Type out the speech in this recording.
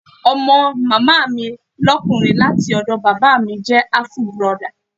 Ọmọ Màámi lókùnrin láti ọ̀dọ̀ Bàbá míì jẹ́ àfù burọdà.